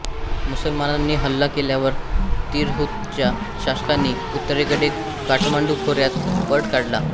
मुसलमानांनी हल्ला केल्यावर तिरहुतच्या शासकांनी उत्तरेकडे काठमांडू खोऱ्यात पळ काढला